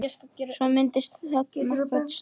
Svo myndast þögn nokkra stund.